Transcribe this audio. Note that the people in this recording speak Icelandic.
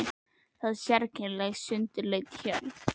Var það sérkennileg og sundurleit hjörð.